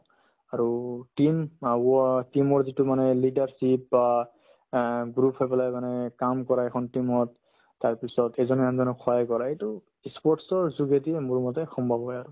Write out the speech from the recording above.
আৰু team team ৰ যিটো মানে leadership বা অ group হৈ পেলাই মানে কাম কৰাই এখন team ত তাৰপিছত এজনে আনজনক সহায় কৰে এইটো ই sports ৰ যোগেদি মোৰ মতে সম্ভৱ হয় আৰু